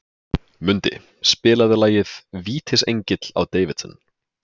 Mundi, spilaðu lagið „Vítisengill á Davidson“.